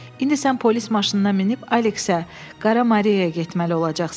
İndi sən polis maşınına minib Aleksə, Qara Mariyaya getməli olacaqsan.